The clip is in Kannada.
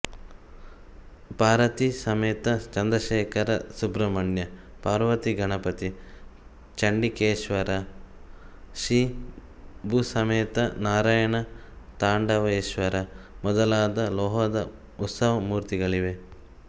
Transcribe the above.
ಪಾರ್ವತೀಸಮೇತ ಚಂದ್ರಶೇಖರ ಸುಬ್ರಹ್ಮಣ್ಯ ಪಾರ್ವತಿ ಗಣಪತಿ ಚಂಡಿಕೇಶ್ವರ ಶ್ರೀಭೂಸಮೇತ ನಾರಾಯಣ ತಾಂಡವೇಶ್ವರ ಮೊದಲಾದ ಲೋಹದ ಉತ್ಸವಮೂರ್ತಿಗಳಿವೆ